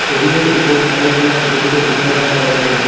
টেবিলের উপর অনেকগুলা ছোট ছোট বোতল রাখা রয়েসে।